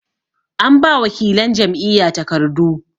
an ba wakilan Jam'iyya takardu